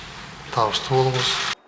табысты болыңыз